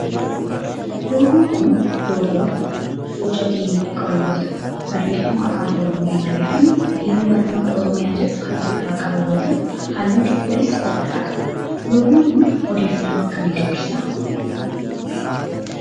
Loogoon kun loogoo boca geengoo qabu yoo ta'u barreeffama afaan oromoon barreeffame biiroo barnootaa oromiyaa jedhu kan of irraa qabu yoo ta'u halluu cuquliisa of irraa qaba. loogoon kun odeeffannoo akkamii dabarsa?